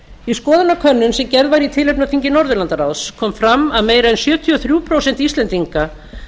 í skoðanakönnun sem gerð var í tilefni af þingi norðurlandaráðs kom fram að meira en sjötíu og þrjú prósent íslendinga